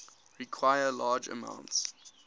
require large amounts